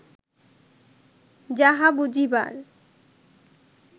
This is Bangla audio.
যাহা বুঝিবার